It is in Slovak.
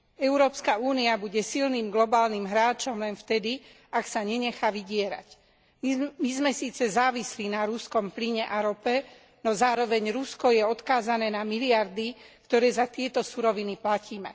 Európska únia bude silným globálnym hráčom len vtedy, ak sa nenechá vydierať. My sme síce závislí na ruskom plyne a rope, no zároveň Rusko je odkázané na miliardy, ktoré za tieto suroviny platíme.